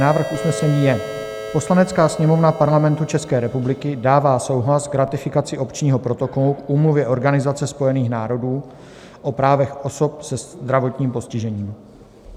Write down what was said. Návrh usnesení je: "Poslanecká sněmovna Parlamentu České republiky dává souhlas k ratifikaci Opčního protokolu k úmluvě Organizace spojených národů o právech osob se zdravotním postižením."